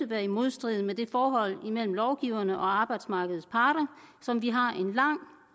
være i modstrid med det forhold mellem lovgiverne og arbejdsmarkedets parter som vi har en lang